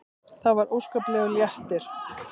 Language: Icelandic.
Það var óskaplegur léttir.